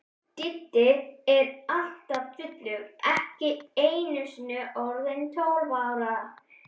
Diddi er alltaf fullur, ekki einusinni orðinn tólf ára.